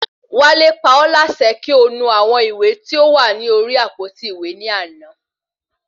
Wale pa ọ́ láṣẹ kí o nu àwọn ìwé tí ó wà ní orí àpótí ìwé ní àná